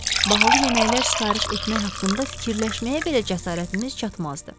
Bahalı yeməklər sifariş etmək haqqında fikirləşməyə belə cəsarətimiz çatmazdı.